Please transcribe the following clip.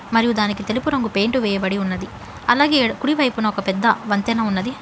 మరియు దానికి తెలుపు రంగు పెయింట్ వేయబడి ఉన్నది అలాగే కుడివైపున ఒక పెద్ద వంతెన ఉన్నది.